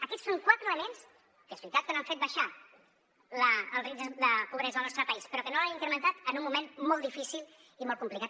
aquests són quatre elements que és veritat que no han fet baixar el risc de pobresa al nostre país però que no l’han incrementat en un moment molt difícil i molt complicat